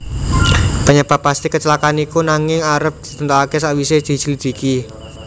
Penyebab pasti kecelakaan iku nanging arep ditentokake sakwise dislidiki